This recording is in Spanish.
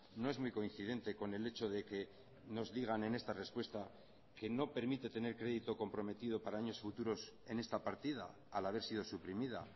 no es muy coincidente con el hecho de que nos digan en esta respuesta que no permite tener crédito comprometido para años futuros en esta partida al haber sido suprimida